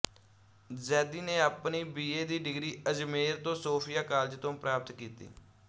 ਜ਼ੈਦੀ ਨੇ ਆਪਣੀ ਬੀਏ ਦੀ ਡਿਗਰੀ ਅਜਮੇਰ ਦੇ ਸੋਫੀਆ ਕਾਲਜ ਤੋਂ ਪ੍ਰਾਪਤ ਕੀਤੀ